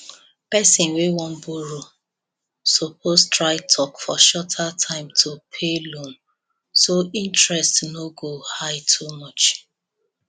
person wey wan borrow suppose try talk for shorter time to pay loan so interest no go high too much